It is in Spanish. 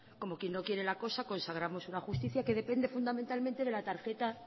como quien no quiere la cosa consagramos una justicia que depende fundamentalmente de la tarjeta